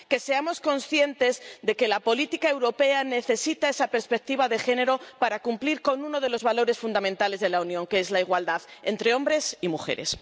que seamos conscientes de que la política europea necesita esa perspectiva de género para cumplir con uno de los valores fundamentales de la Unión, que es la igualdad entre hombres y mujeres.